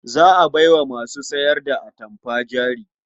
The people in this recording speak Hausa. Za a bai wa masu sayar da atamfa jari.